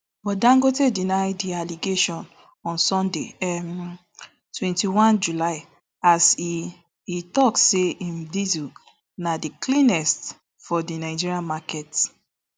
but dangote deny di allegation on sunday um twenty-one july as e e tok say im diesel na di cleanest for di nigeria market